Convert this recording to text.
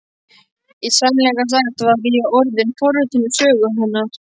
Í sannleika sagt var ég orðin forvitin um sögu hennar.